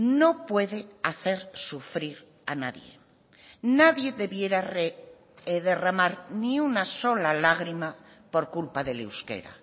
no puede hacer sufrir a nadie nadie debiera derramar ni una sola lágrima por culpa del euskera